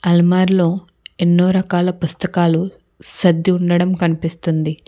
అల్మారులో ఎన్నో రకాల పుస్తకాలు సద్ది ఉండడం కనిపిస్తుంది.